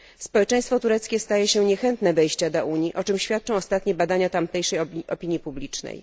Społeczeństwo tureckie staje się niechętne wejścia do Unii, o czym świadczą ostatnie badania tamtejszej opinii publicznej.